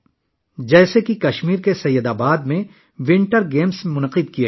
مثال کے طور پر، کشمیر کے سید آباد میں سرمائی کھیلوں کا انعقاد کیا گیا